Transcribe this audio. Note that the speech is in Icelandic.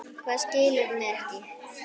Hvað, skilurðu mig ekki?